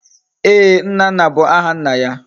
Eeh! Nnanna bu aha nna ya